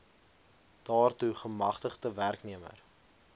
daartoe gemagtigde werknemer